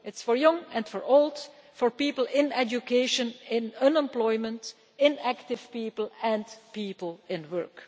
It is for young and old, for people in education, in unemployment, inactive people and people in work.